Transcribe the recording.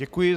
Děkuji.